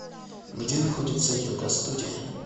где находится йога студия